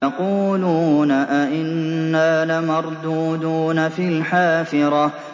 يَقُولُونَ أَإِنَّا لَمَرْدُودُونَ فِي الْحَافِرَةِ